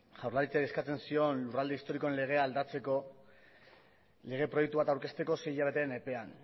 jaurlaritzari eskatzen zion lurralde historikoen legea aldatzeko lege proiektu bat aurkezteko sei hilabeteren epean